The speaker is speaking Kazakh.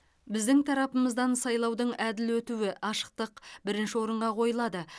біздің тарапымыздан сайлаудың әділ өтуі ашықтық бірінші орынға қойылады